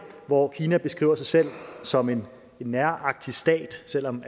hvor kina beskriver sig selv som en nærarktisk stat selv om